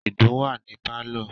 Ìdun wà ní pálọ̀.